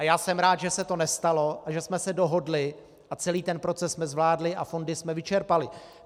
A já jsem rád, že se to nestalo a že jsme se dohodli a celý ten proces jsme zvládli a fondy jsme vyčerpali.